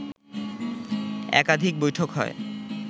একাধিক বৈঠক হয়